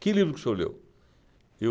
Que livro que o senhor leu? Eu